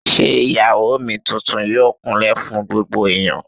Ṣé Ìyàwó mi tuntun yóò kún lẹ̀ fún gbogbo ẹ̀yán?